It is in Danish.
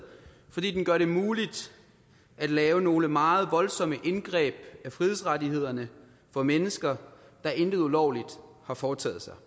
fordi den gør det muligt at lave nogle meget voldsomme indgreb i frihedsrettighederne for mennesker der intet ulovligt har foretaget sig